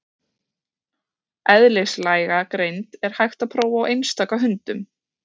Eðlislæga greind er hægt að prófa á einstaka hundum.